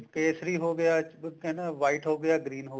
ਕੇਸਰੀ ਹੋਗਿਆ white ਹੋਗਿਆ green ਹੋਗਿਆ